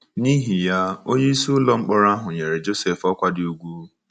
N’ihi ya, onyeisi ụlọ mkpọrọ ahụ nyere Josef ọkwa dị ùgwù.